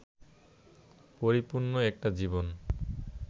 পরিপূর্ণ একটা জীবন